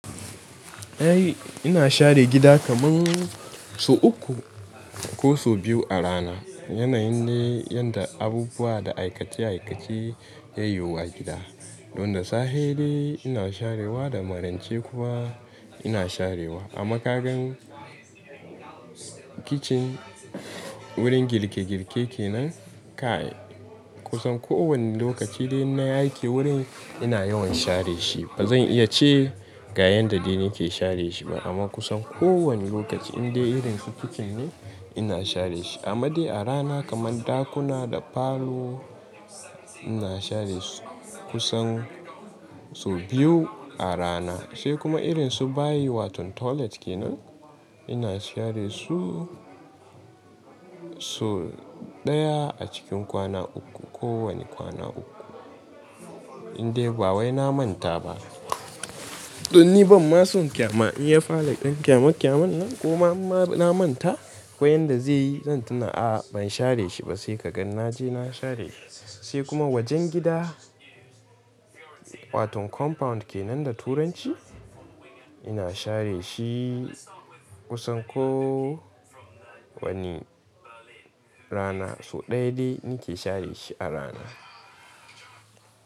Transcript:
Eh ina share gida kaman sau uku ko sau biyu a rana. Yanayin dai yadda abubuwa da aikace aikace yayiwu gida. Don da safe dai ina sharewa da marance kuma ina sharewa. A makagan kicin, wurin girke girke kenan kai kusan ko wani lokaci dai in nayi aiki wurin ina yawan share shi. Ba zan iya ce gayen da dai nake share shi ba amma kusan ko wani lokaci in dai irin su kicin ne ina share shi. Amma dai a rana kaman ɗakuna da falo ina share su kusan sau biyu a rana. Sai kuma irin su bayi wato toilet kenan ina share su sau ɗaya a cikin kwana uku. Ko wani kwana uku. In dai ba wai na manta ba. Don ni ban ma so kyama in ya fara ɗan kyamakyaman nan. Kuma imma na manta ko yanda zai yi zan tuna a ban share shi ba sai kagan naje na share shi. Sai kuma wajen gida wato compound kenan da turanci ina share shi kusan ko wani rana. Sau ɗaya dai nake share shi a rana.